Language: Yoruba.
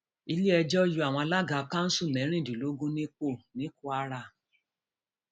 iléẹjọ yọ àwọn alága kanṣu mẹrìndínlógún nípò ní kwara